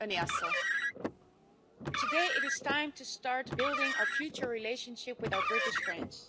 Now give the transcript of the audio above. Madam President, today it is time to start building our future relationship with our British friends.